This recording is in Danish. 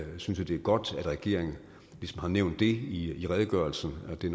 synes det er godt at regeringen ligesom har nævnt i redegørelsen at det